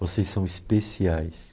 Vocês são especiais.